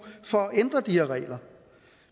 for at ændre de her regler